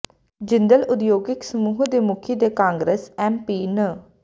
ਜਿੰਦਲ ਉਦਯੋਗਿਕ ਸਮੂਹ ਦੇ ਮੁਖੀ ਤੇ ਕਾਂਗਰਸ ਐਮਪੀ ਨ